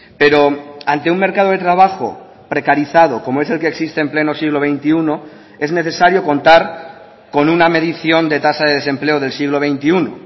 pero ante un mercado de trabajo precarizado como es el que existe en pleno siglo veintiuno es necesario contar con una medición de tasa de desempleo del siglo veintiuno